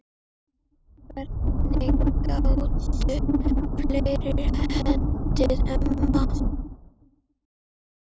Hvernig gátu fleiri heitið amma?